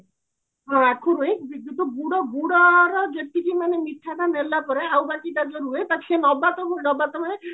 ହଁ ଆଖୁରୁ ହିଁ ଗୁଡ ଗୁଡର ଯେତିକି ମାନେ ମିଠାଟା ନେଲା ପରେ ଆଉ ବାକି ତା ଯଉ ରୁହେ ତାକୁ ସିଏ ନବାତକୁ ନବାତ ହୁଏ